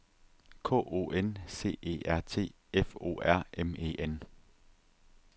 K O N C E R T F O R M E N